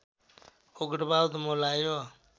उग्रवाद मौलायो